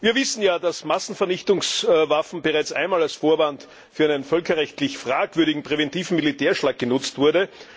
Wir wissen ja, dass Massenvernichtungswaffen bereits einmal als Vorwand für einen völkerrechtlich fragwürdigen präventiven Militärschlag genutzt wurden.